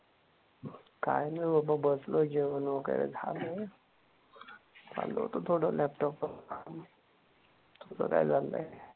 काय नाही बाबा बसलोय जेवण वगैरे झालय. चाल होत थोडं लॅपटॉप वर काम. तुझं काय चाललंय?